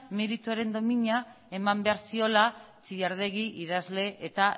meritoren domina eman behar ziola txilardegi idazle eta